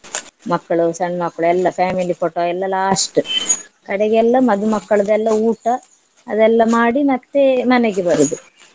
ಮಕ್ಳು ಸಣ್ಣ್ ಮಕ್ಳು ಎಲ್ಲ family photo ಎಲ್ಲ last ಕಡೆಗೆಲ್ಲ ಮಧುಮಕ್ಕಳದೆಲ್ಲ ಊಟ ಅದೆಲ್ಲ ಮಾಡಿ ಮತ್ತೆ ಮನೆಗೆ ಬರುದು.